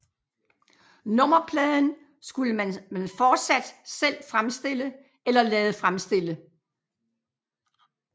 Nummerpladen skulle man fortsat selv fremstille eller lade fremstille